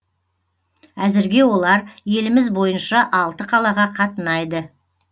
әзірге олар еліміз бойынша алты қалаға қатынайды